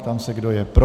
Ptám se, kdo je pro.